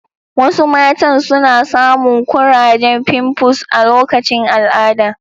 Wasu matan suna samun kurajen fimfus a lokacin al'ada